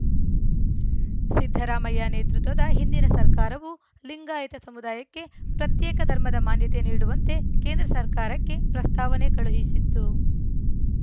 ಸಿದ್ದರಾಮಯ್ಯ ನೇತೃತ್ವದ ಹಿಂದಿನ ಸರ್ಕಾರವು ಲಿಂಗಾಯತ ಸಮುದಾಯಕ್ಕೆ ಪ್ರತ್ಯೇಕ ಧರ್ಮದ ಮಾನ್ಯತೆ ನೀಡುವಂತೆ ಕೇಂದ್ರ ಸರ್ಕಾರಕ್ಕೆ ಪ್ರಸ್ತಾವನೆ ಕಳುಹಿಸಿತ್ತು